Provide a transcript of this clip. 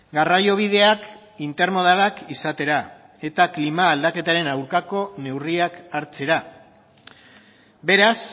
garraiobideak intermodalak izatera eta klima aldaketaren aldeko neurriak hartzera beraz